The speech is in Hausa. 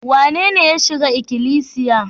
Wanene ya shiga ikilisiya?